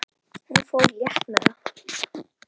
Hún fór létt með það.